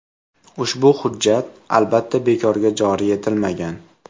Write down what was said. Ushbu hujjat, albatta, bekorga joriy etilmagan.